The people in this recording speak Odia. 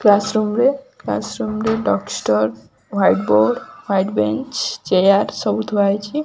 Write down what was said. କ୍ଲାସ ରୁମ ରେ କ୍ଲାସ ରୁମ ରେ duster white board white bench chair ସବୁ ଥୁଆ ହେଇଛି।